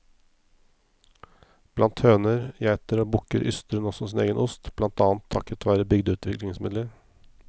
Blant høner, geiter og bukker yster hun også sin egen ost, blant annet takket være bygdeutviklingsmidler.